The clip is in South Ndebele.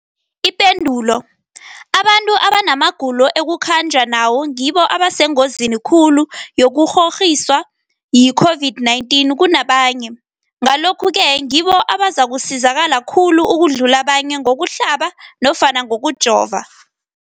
Ipendulo, abantu abanamagulo ekukhanjwa nawo ngibo abasengozini khulu yokukghokghiswa yi-COVID-19 kunabanye, Ngalokhu-ke ngibo abazakusizakala khulu ukudlula abanye ngokuhlaba nofana ngokujova.